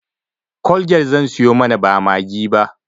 colgate zan siyo mana ba maggi ba